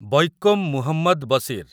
Vaikom Muhammad Bashir